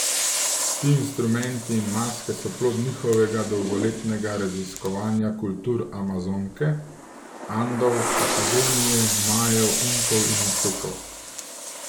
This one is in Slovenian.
Ti instrumenti in maske so plod njihovega dolgoletnega raziskovanja kultur Amazonke, Andov, Patagonije, Majev, Inkov in Aztekov.